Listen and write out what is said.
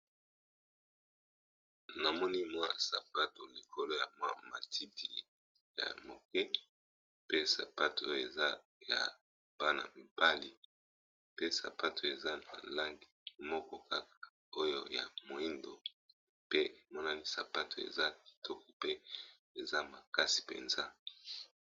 na monimo sapato likolo ya mmatiti ya moke pe sapato oyo eza ya bana mibali pe sapato eza na lange moko kaka oyo ya moindo pe emonani sapato eza kitoko pe eza makasi mpenza